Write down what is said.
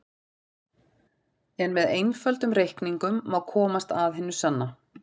En með einföldum reikningum má komast að hinu sanna.